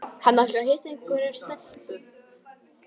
Hann ætlar að hitta einhverja stelpu